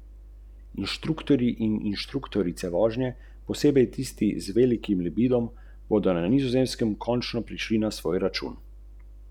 Njegova dela občasno videvam v teh krajih.